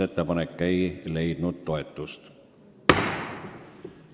Ettepanek ei leidnud toetust.